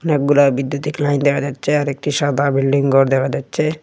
অনেকগুলা বিদ্যুতিক লাইন দেখা যাচ্ছে আর একটা সাদা বিল্ডিং ঘর দেখা যাচ্ছে।